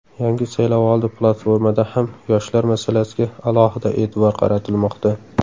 Yangi saylovoldi platformada ham yoshlar masalasiga alohida e’tibor qaratilmoqda.